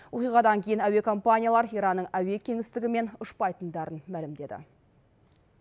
оқиғадан кейін әуе компаниялары иранның әуе кеңістігімен ұшпайтындарын мәлімдеді